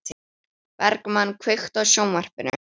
Bergmann, kveiktu á sjónvarpinu.